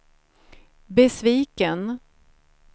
besviken